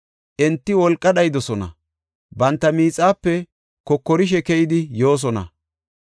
Enti wolqa dhayidosona; banta miixape kokorishe keyidi yoosona.